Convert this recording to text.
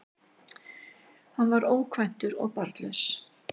Hann var ókvæntur og barnlaus